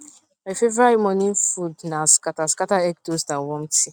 my favourite morning food na scatter scatter egg toast and warm tea